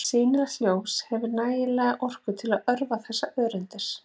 Sýnilegt ljós hefur hæfilega orku til að örva þessar rafeindir.